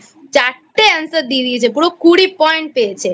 চারটে Answer দিয়ে দিয়েছে পুরো কুড়ি Point পেয়েছে